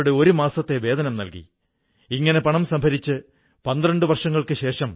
നമ്മുടെ പ്രാദേശിക ഉത്പന്നങ്ങളൊടൊപ്പം ഒരു ദർശനവും ചേർന്നിരിക്കുന്നു എന്നത് അവയുടെ ഒരു വൈശിഷ്ട്യം തന്നെയാണ്